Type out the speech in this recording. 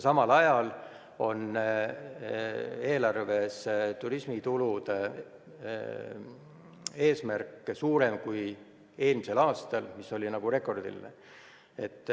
Samal ajal on eelarves turismitulude eesmärk suurem kui eelmisel aastal, mis oli rekordiline.